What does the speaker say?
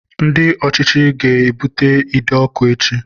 Ndị ọchịchị ga-ebute ide ọkụ echi